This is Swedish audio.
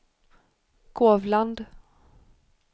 Kovland